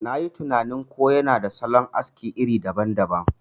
Nayi tinanin ko yana da salon aski iri daban daban.